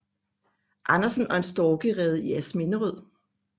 Andersen og en storkerede i Asminderød